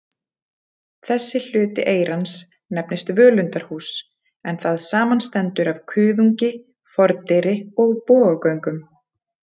Þessi hluti eyrans nefnist völundarhús, en það samanstendur af kuðungi, fordyri og bogagöngum.